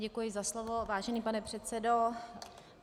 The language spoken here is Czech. Děkuji za slovo, vážený pane předsedo.